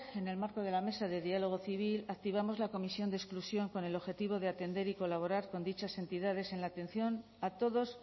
en el marco de la mesa de diálogo civil activamos la comisión de exclusión con el objetivo de atender y colaborar con dichas entidades en la atención a todos